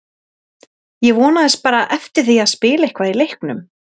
Ég vonaðist bara eftir því að spila eitthvað í leiknum.